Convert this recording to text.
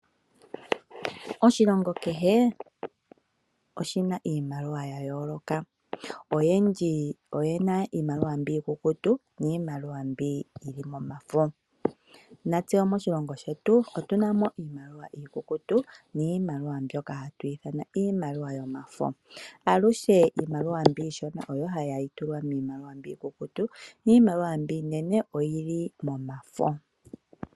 Oshilongo kehe oshina iimaliwa ya yooloka. Oyendji oye na iimaliwa mbi ikukutu niimaliwa mbi yi li momafo. Natse moshilongo shetu otuna mo iimaliwa ikukutu niimaliwa mbyoka ha twii thana iimaliwa yomafo. Alushe iimaliwa mbi yi shona oyo hayi tulwa miimaliwa mbi yi kukutu, yo iimaliwa mbi yinene oyili momafo.